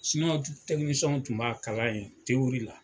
Siniwaw tɛw tun b'a kalan yen te la